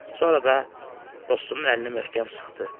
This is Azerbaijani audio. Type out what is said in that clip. Sonra da dostunun əlini möhkəm sıxdı.